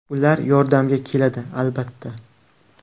Ular yordamga keladi albatta.